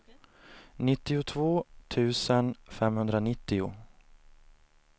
nittiotvå tusen femhundranittio